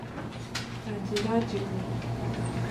Ta njĩra njigue